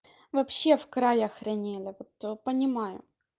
вообще в край охраняли вот понимаю